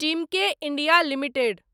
Timken India limited